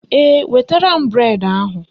Ee, wetara m bụredi ahụ